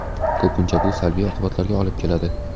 Ko‘pincha bu salbiy oqibatlarga olib keladi.